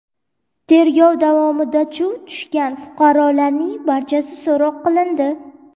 Tergov davomida chuv tushgan fuqarolarning barchasi so‘roq qilindi.